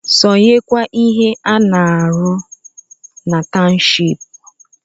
Sonyekwa n’ihe a na-arụ na tawụshipu!